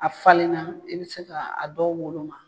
A falenna i bɛ se k'a dɔw woloma.